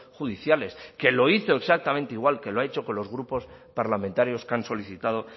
judiciales que lo hizo exactamente igual que lo ha hecho con los grupos parlamentarios que han solicitado